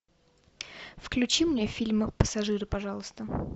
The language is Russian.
включи мне фильм пассажиры пожалуйста